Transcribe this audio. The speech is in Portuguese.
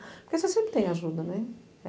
Porque você sempre tem ajuda, né?